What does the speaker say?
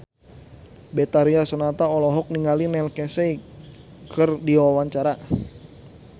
Betharia Sonata olohok ningali Neil Casey keur diwawancara